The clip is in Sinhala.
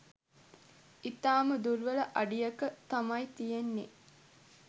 ඉතාම දුර්වල අඩියක තමයි තියෙන්නේ.